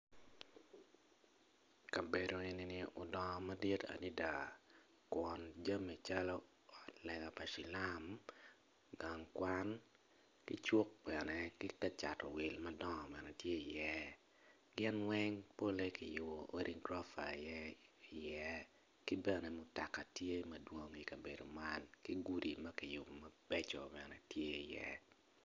Kabedo enini odongo madit adada kun jami calo ot lega pa cilam, gang kwan, ki cuk bene ki ka cato wil madongo bene tye iye gin weng polle kiyubo odi gurofa iye ki bene mutoka tye madwong ikabedo man ki gudi ma kiyubo mabecco bene tye iye.